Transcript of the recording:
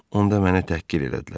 Onda məni təhqir elədilər.